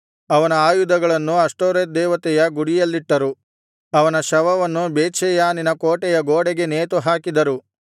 ಅವನ ಆಯುಧಗಳನ್ನು ಅಷ್ಟೋರೆತ್ ದೇವತೆಯ ಗುಡಿಯಲ್ಲಿಟ್ಟರು ಅವನ ಶವವನ್ನು ಬೇತ್ಷೆಯಾನಿನ ಕೋಟೆ ಗೋಡೆಗೆ ನೇತುಹಾಕಿದರು